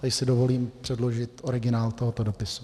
Tady si dovolím předložit originál tohoto dopisu.